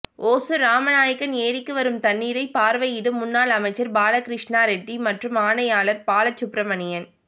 ஒசூா் ராமநாயக்கன் ஏரிக்கு வரும் தண்ணீரை பாா்வையிடும் முன்னாள் அமைச்சா் பாலகிருஷ்ணாரெட்டி மற்றும் ஆணையாளா் பாலசுப்பிரமணியன்